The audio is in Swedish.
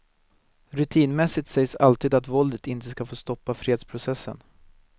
Rutinmässigt sägs alltid att våldet inte ska få stoppa fredsprocessen.